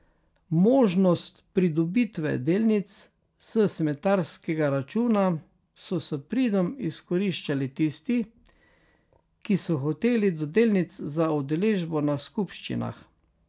Možnost pridobitve delnic s smetarskega računa so s pridom izkoriščali tisti, ki so hoteli do delnic za udeležbo na skupščinah.